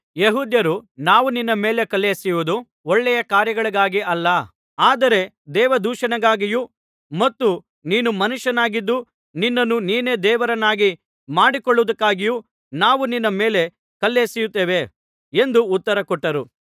ಯೆಹೂದ್ಯರು ನಾವು ನಿನ್ನ ಮೇಲೆ ಕಲ್ಲೆಸೆಯುವುದು ಒಳ್ಳೆಯ ಕಾರ್ಯಗಳಿಗಾಗಿ ಅಲ್ಲ ಆದರೆ ದೇವದೂಷಣೆಗಾಗಿಯೂ ಮತ್ತು ನೀನು ಮನುಷ್ಯನಾಗಿದ್ದು ನಿನ್ನನ್ನು ನೀನೇ ದೇವರನ್ನಾಗಿ ಮಾಡಿಕೊಳ್ಳುವುದಕ್ಕಾಗಿಯೂ ನಾವು ನಿನ್ನ ಮೇಲೆ ಕಲ್ಲೆಸೆಯುತ್ತೇವೆ ಎಂದು ಉತ್ತರ ಕೊಟ್ಟರು